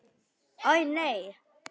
Æi, nei.